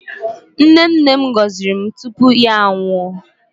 Nne nne m gọziri anyị tupu ya anwụọ.